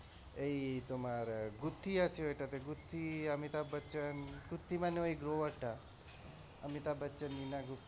এই তোমার গউত্থি আছে ওইটাতে গউত্থি অমিতাভ বচ্চন গউত্থি মানে ওই টা অমিতাভ বচ্চন নীনা গুপ্তা,